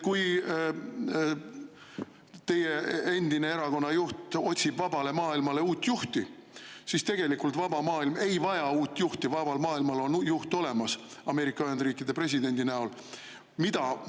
Teie erakonna endine juht otsib vabale maailmale uut juhti, aga tegelikult vaba maailm ei vaja uut juhti, vabal maailmal on Ameerika Ühendriikide presidendi näol juht olemas.